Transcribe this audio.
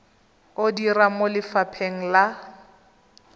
o dira mo lefapheng la